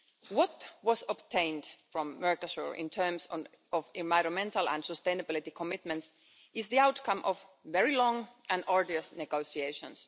What was obtained from Mercosur in terms of environmental and sustainability commitments is the outcome of very long and arduous negotiations.